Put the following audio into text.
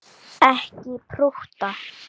Ekki prútta!